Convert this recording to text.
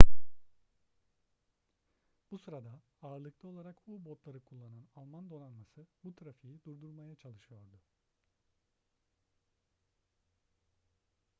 bu sırada ağırlıklı olarak u-botları kullanan alman donanması bu trafiği durdurmaya çalışıyordu